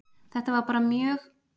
Þetta var mjög mikilvæg aðgerð